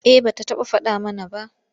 Eh ba ta faɗa mana ba.